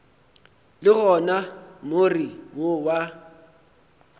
le gona more wo wa